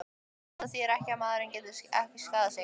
En það þýðir ekki að maðurinn geti ekki skaðað mig.